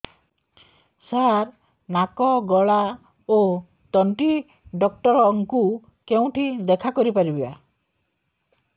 ସାର ନାକ ଗଳା ଓ ତଣ୍ଟି ଡକ୍ଟର ଙ୍କୁ କେଉଁଠି ଦେଖା କରିପାରିବା